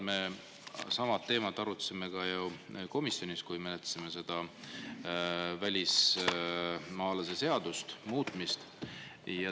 Me sama teemat arutasime ka komisjonis, kui menetlesime seda välismaalaste seaduse muutmist.